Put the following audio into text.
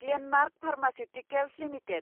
Glenmark pharmaceuticals limited